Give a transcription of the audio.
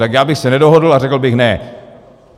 Tak já bych se nedohodl a řekl bych ne.